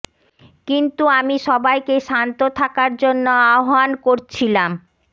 কিন্তু আমি সবাইকে শান্ত থাকার জন্য আহবান করছিলাম